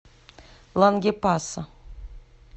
лангепаса